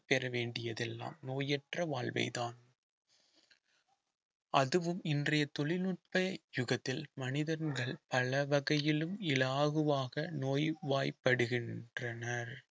பெற வேண்டியதெல்லாம் நோயற்ற வாழ்வைதான் அதுவும் இன்றைய தொழில்நுட்ப யுகத்தில் மனிதன்கள் பல வகையிலும் இலாகுவாக நோய்வாய்ப்படுகின்றனர்